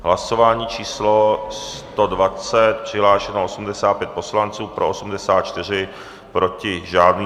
Hlasování číslo 120, přihlášeno 85 poslanců, pro 84, proti žádný.